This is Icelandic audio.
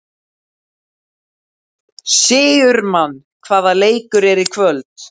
Sigurmann, hvaða leikir eru í kvöld?